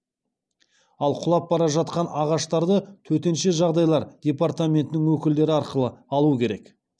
ал құлап бара жатқан ағаштарды төтенше жағдайлар департаментінің өкілдері арқылы алу керек